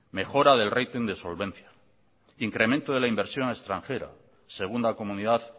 mejora del rating de solvencia incremento de la inversión extranjera segunda comunidad